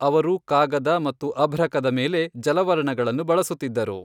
ಅವರು ಕಾಗದ ಮತ್ತು ಅಭ್ರಕದ ಮೇಲೆ ಜಲವರ್ಣಗಳನ್ನು ಬಳಸುತ್ತಿದ್ದರು.